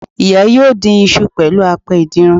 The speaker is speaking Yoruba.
Ìya yóò dín isu pẹ̀lú apẹ ìdínran